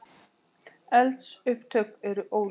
Eldsupptök eru óljós